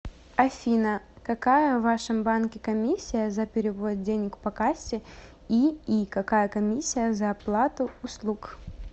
афина какая в вашем банке комиссия за перевод денег по кассе и и какая комиссия за оплату услуг